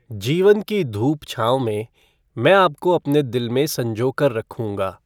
जीवन की धूप छाँव में, मैं आपको अपने दिल में संजोकर रखूंगा।